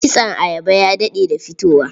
Kitson ayaba ya daɗe da fitowa.